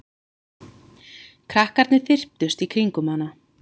Krakkarnir þyrptust í kringum hana.